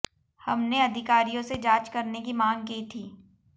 हमने अधिकारियों से जांच करने की मांग की थी